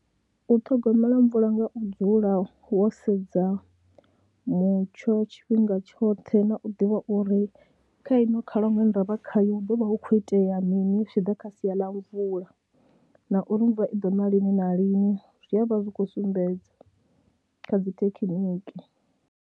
U ṱhogomela mvula nga u dzula wo sedza mutsho tshifhinga tshoṱhe na u ḓivha uri kha ino khalaṅwaha ine ra vha khayo hu ḓo vha hu khou itea mini zwi tshi ḓa kha sia ḽa mvula na uri mvula i ḓo ṋa lini na lini, zwi a vha zwi khou sumbedza kha dzi thekhiniki.